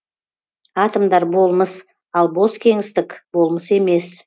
атомдар болмыс ал бос кеңістік болмыс емес